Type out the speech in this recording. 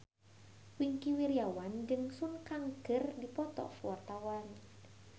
Wingky Wiryawan jeung Sun Kang keur dipoto ku wartawan